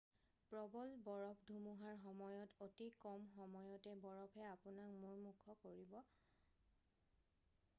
প্ৰবল বৰফ ধুমুহাৰ সময়ত অতি কম সময়তে বৰফে আপোনাক মূমূৰ্ষ কৰিব